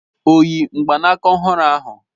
O yi mgbaaka ọhụrụ ahụ?